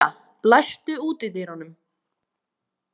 Milla, læstu útidyrunum.